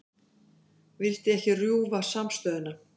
Vildi ekki rjúfa samstöðuna